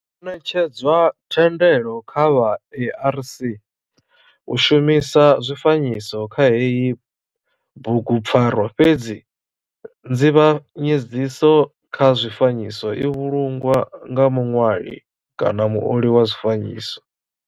Ho netshedzwa thendelo kha vha ARC u shumisa zwifanyiso kha heyi bugupfarwa fhedzi nzivhanyedziso kha zwifanyiso i vhulungwa nga muṋwali kana muoli wa zwifanyiso.